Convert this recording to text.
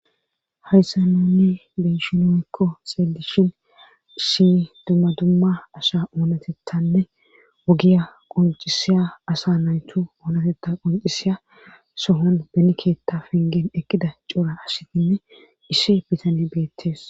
Hayssa nuni be'shin woykko xeelishin issi dumma dumma asa oonatettanne ogiya qoncisiya asa naytu oonatetta qoncisiya sohon be keetta penggen eqqida cora asatinne isshi bitane beettees.